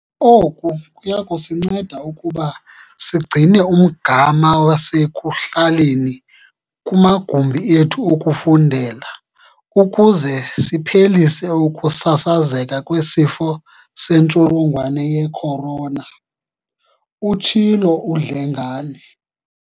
"Oku kuyakusinceda ukuba sigcine umgama wasekuhlaleni kumagumbi ethu okufundela ukuze siphelise ukusasazeka kweSifo seNtsholongwane ye-Corona," utshilo uDlengane.